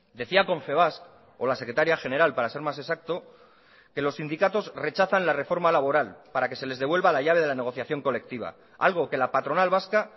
decía confebask o la secretaria general para ser más exacto que los sindicatos rechazan la reforma laboral para que se les devuelva la llave de la negociación colectiva algo que la patronal vasca